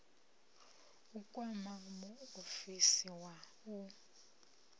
u kwama muofisi wa u